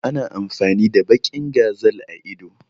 Ana amfani da baƙin gazal a ido